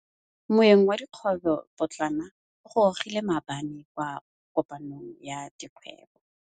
Moêng wa dikgwêbô pôtlana o gorogile maabane kwa kopanong ya dikgwêbô.